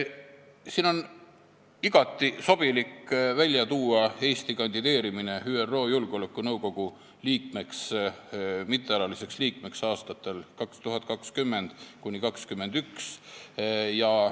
Siin on igati sobilik välja tuua Eesti kandideerimine ÜRO Julgeolekunõukogu mittealaliseks liikmeks aastateks 2020–2021.